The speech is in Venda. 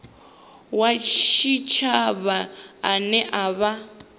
wa tshitshavha ane a vha